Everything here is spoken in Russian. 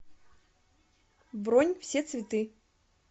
бронь все цветы